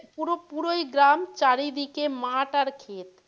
পুরোই গ্রাম চারিদিকে মাঠ আর খেত।